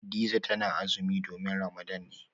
Hadiza tana azumi domin Ramadan ne